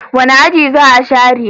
Wani aji za a share?